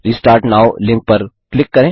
restart now link पर click करें